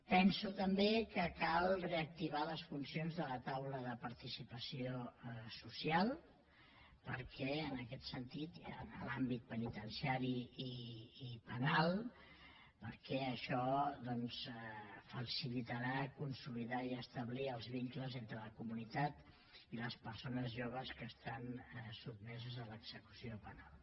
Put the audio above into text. penso també que cal reactivar les funcions de la taula de participació social en l’àmbit penitenciari i penal perquè això facilitarà consolidar i establir els vincles entre la comunitat i les persones joves que estan sotmeses a l’execució penal